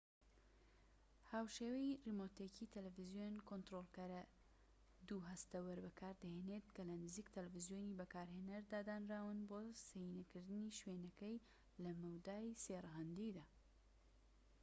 هاوشێوەی ڕیمۆتێکی تەلەفزیۆن، کۆنتڕۆلەرەکە دوو هەستەوەر بەکاردەهێنێت کە لە نزیک تەلەفزیۆنی بەکارهێنەردا دانراون بۆ سێینەکردنی شوێنەکەی لە مەودای سێ ڕەهەندیدا‎